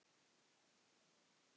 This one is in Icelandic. Æ, greyin.